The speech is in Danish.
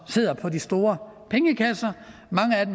sidder på de store pengekasser